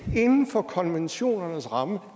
er inden for konventionernes rammer